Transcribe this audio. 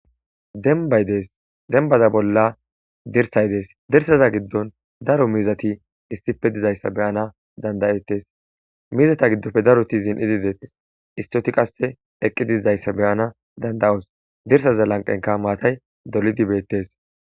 Denbay des denbaza bolla dirsay des dirsaza gidon daro mizati issippe dizaysa be'ana danda'etes mizata gidoppe daroti zinidi detese issioti qase eqidi deizaysa beyana danda'aoso dirsaza lanqenkka maatay dolidi betese